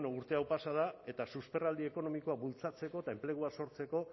bueno urte hau pasa da eta susperraldi ekonomikoa bultzatzeko eta enplegua sortzeko